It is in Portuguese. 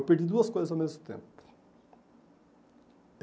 Eu perdi duas coisas ao mesmo tempo.